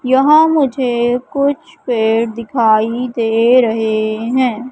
यहां मुझे कुछ पेड़ दिखाई दे रहे हैं।